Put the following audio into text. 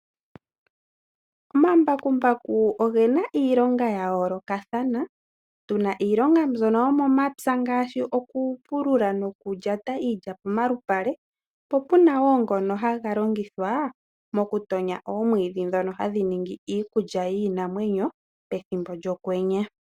Omambakumbaku ogena iilonga ya yoolokathana, tuna iilonga mbyono yomomapya ngaashi oku pulula noku lyata iilya pomalupale, po puna wo ngono haga longithwa moku tonya omwiidhi ndhono hadhi ningi iikulya yiinamwenyo pethimbo lyokwenye.